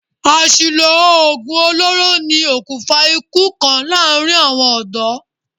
Àsìlò òògùn oloro ni okùnfà ikú kan láàárín àwọn ọ̀dọ́.